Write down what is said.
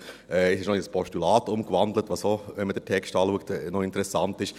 Es wurde in ein Postulat umgewandelt, was, wenn man den Text anschaut, interessant ist.